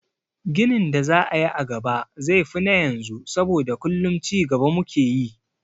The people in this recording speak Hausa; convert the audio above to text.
Ginin da za a yi a gaba zai fi na yanzu saboda kullum cigaba mu ke yi.